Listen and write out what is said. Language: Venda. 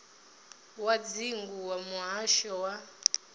wa dzingu wa muhasho wa